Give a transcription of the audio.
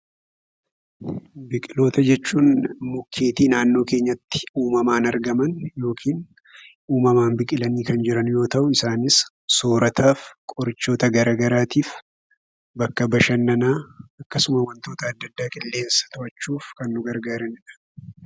Biqiloota jechuun mukeetii naannoo keenyaatti uumamaan argaman yookiin uumamaan biqilaanii kan jiran yoo ta'u, isaanis: soorataaf, qorichaaf, bakka bashannanaa, qilleensa to'achuuf, akkasumas wantoota adda addaaf nu gargaaru.